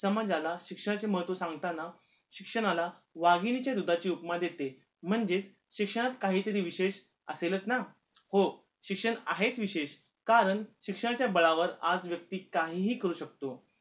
समाजाला शिक्षणाचे महत्व सांगताना शिक्षणाला वाघिणीच्या दुधाची उपमा देते म्हणजे शिक्षणात काही तरी विशेष असेलच ना हो शिक्षण आहेच विशेष कारण शिक्षणाच्या बळावर आज व्यक्ती काहीही करू शकतो